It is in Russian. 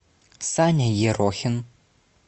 саня ерохин